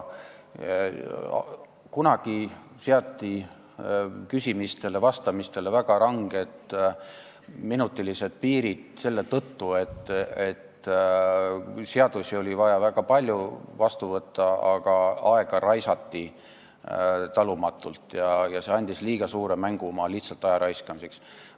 Kunagi seati küsimistele ja vastamistele väga ranged minutipiirid selle tõttu, et oli vaja väga palju seadusi vastu võtta, aga aega raisati talumatult, oli liiga suur mängumaa lihtsalt aja raiskamiseks.